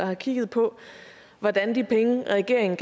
har kigget på hvordan de penge regeringen